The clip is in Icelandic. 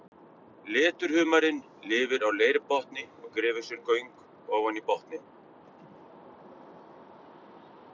Leturhumarinn lifir á leirbotni og grefur sér göng ofan í botninn.